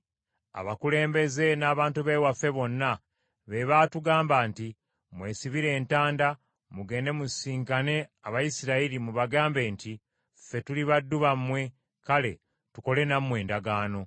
Abakulembeze n’abantu b’ewaffe bonna beebaatugamba nti, ‘Mwesibire entanda mugende musisinkane Abayisirayiri mubagambe nti, “Ffe tuli baddu bammwe kale tukole nammwe endagaano.” ’